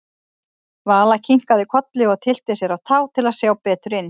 Vala kinkaði kolli og tyllti sér á tá til að sjá betur inn.